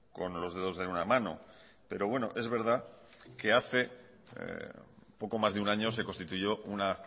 con los dedos de una mano pero bueno es verdad que hace poco más de un año se constituyó una